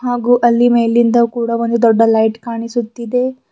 ಹಾಗು ಅಲ್ಲಿ ಮೇಲಿಂದ ಕೂಡ ಒಂದು ದೊಡ್ಡ ಲೈಟ್ ಕಾಣಿಸುತ್ತಿದೆ.